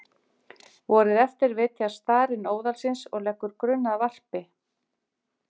Vorið eftir vitjar starinn óðalsins og leggur grunn að varpi.